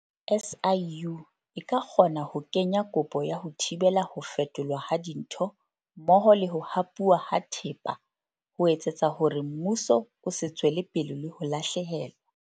SIU e ka kgona ho kenya kopo ya ho thibela ho fetolwa ha dintho mmoho le ho hapuwa ha thepa ho etsetsa hore mmuso o se tswele pele le ho lahlehelwa.